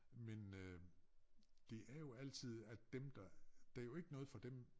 Men øh det er jo altid at dem der der jo ikke noget for dem